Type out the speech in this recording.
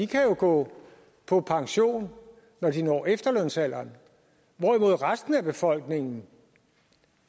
kan gå på pension når de når efterlønsalderen hvorimod resten af befolkningen